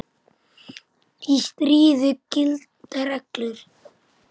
Í stríði gilda reglur.